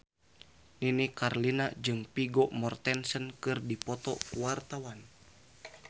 Nini Carlina jeung Vigo Mortensen keur dipoto ku wartawan